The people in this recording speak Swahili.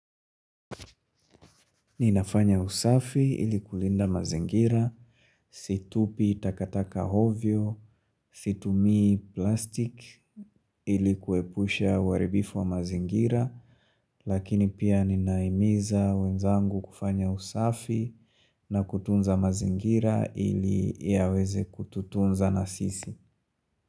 Ninafanya usafi ili kulinda mazingira, situpi takataka ovyo, situmii plastic ili kuepusha uaribifu wa mazingira, lakini pia ninaimiza wenzangu kufanya usafi na kutunza mazingira ili yaweze kututunza na sisi.